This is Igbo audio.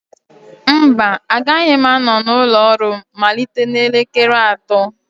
mba, agaghị m anọ n'ụlọ ọrụ m malite n'elekere atọ